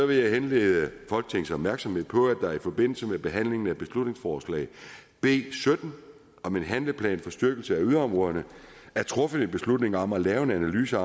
vil jeg henlede folketingets opmærksomhed på at der i forbindelse med behandlingen af beslutningsforslag b sytten om en handleplan for styrkelse af yderområderne er truffet en beslutning om at lave en analyse